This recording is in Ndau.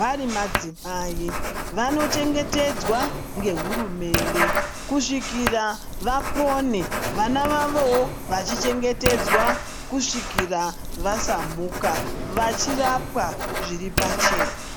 varimadzimai, vanochengetedzwa ngehurumende kusvikira vapone, vana vavowo vachichengetedzwa kusvikira vasamuka vachirapwa zviripachena.